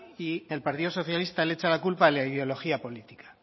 y el partido socialista le echa la culpa a la ideología política